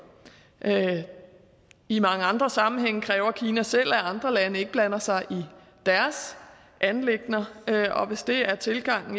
i mange andre sammenhænge kræver kina selv at andre lande ikke blander sig i deres anliggender og hvis det er tilgangen